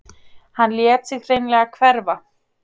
Hann lét sig hreinlega hverfa.